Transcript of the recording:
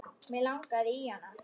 Mig langaði í hana.